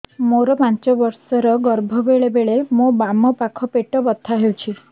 ମୋର ପାଞ୍ଚ ମାସ ର ଗର୍ଭ ବେଳେ ବେଳେ ମୋ ବାମ ପାଖ ପେଟ ବଥା ହଉଛି